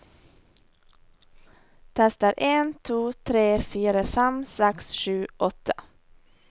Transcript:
Tester en to tre fire fem seks sju åtte